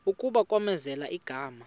kuba kwamenzela igama